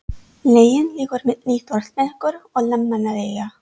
Leiðin liggur milli Þórsmerkur og Landmannalauga.